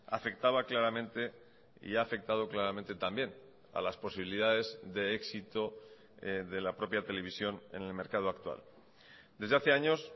afectaba claramente y ha afectado claramente también a las posibilidades de éxito de la propia televisión en el mercado actual desde hace años